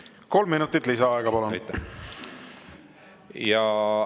Kolm minutit lisaaega, palun!